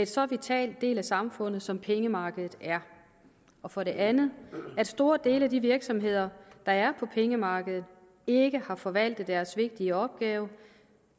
så vital del af samfundet som pengemarkedet er og for det andet at store dele af de virksomheder der er på pengemarkedet ikke har forvaltet deres vigtige opgave